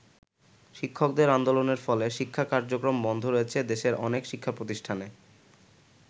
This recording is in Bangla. শিক্ষকদের আন্দোলনের ফলে শিক্ষা কার্যক্রম বন্ধ রয়েছে দেশের অনেক শিক্ষাপ্রতিষ্ঠানে।